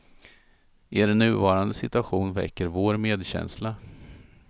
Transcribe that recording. Er nuvarande situation väcker vår medkänsla.